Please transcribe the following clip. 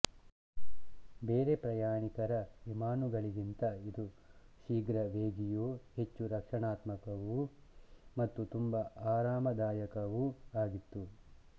ಬೇರೆ ಪ್ರಯಾಣಿಕರ ವಿಮಾನುಗಳಿಗಿಂತ ಇದು ಶೀಘ್ರ ವೇಗಿಯೂ ಹೆಚ್ಚು ರಕ್ಷಣಾತ್ಮಕವೂ ಮತ್ತು ತುಂಬಾ ಆರಾಮದಾಯಕವೂ ಆಗಿತ್ತು